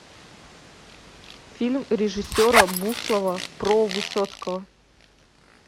фильм режиссера буслова про высоцкого